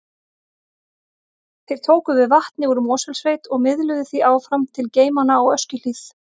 Þeir tóku við vatni úr Mosfellssveit og miðluðu því áfram til geymanna á Öskjuhlíð.